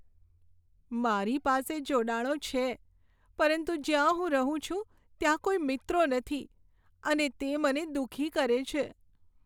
મારી પાસે જોડાણો છે પરંતુ જ્યાં હું રહું છું ત્યાં કોઈ મિત્રો નથી અને તે મને દુઃખી કરે છે.